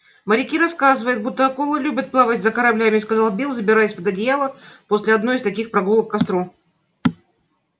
моряки рассказывают будто акулы любят плавать за кораблями сказал билл забираясь под одеяло после одной из таких прогулок к костру